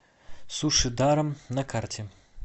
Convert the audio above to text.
суши даром на карте